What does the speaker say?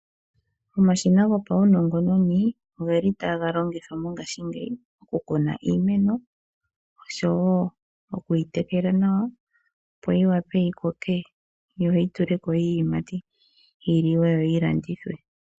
Omashina gopaunongononi oge li taga longithwa mongashingeyi okukuna iimeno oshowo oku yi tekela nawa, opo yi wape yi koke yo yi tule ko iiyimati yi liwe yo yi landithwe.